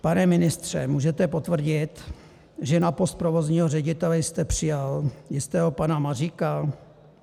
Pane ministře, můžete potvrdit, že na post provozního ředitele jste přijal jistého pana Maříka?